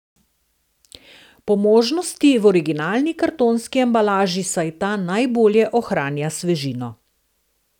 Po možnosti v originalni kartonski embalaži, saj ta najbolje ohranja svežino.